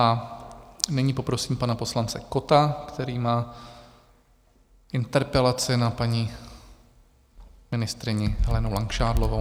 A nyní poprosím pana poslance Kotta, který má interpelaci na paní ministryni Helenu Langšádlovou.